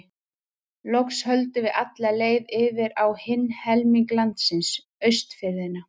Loks höldum við alla leið yfir á hinn helming landsins, Austfirðina.